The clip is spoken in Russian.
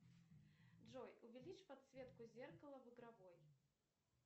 джой увеличь подсветку зеркала в игровой